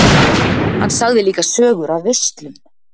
Hann sagði líka sögur af veislum.